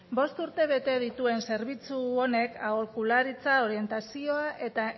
bost urte bete dituen zerbitzu honek aholkularitza orientazio eta